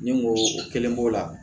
Ni n ko o kelen b'o la